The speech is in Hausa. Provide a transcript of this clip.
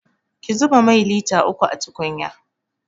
Ki zuba mai lita uku a tukunya!